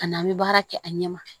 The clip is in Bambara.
Ka na an bɛ baara kɛ a ɲɛ ma